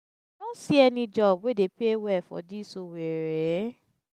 see any job wey dey pay well for dis owerri?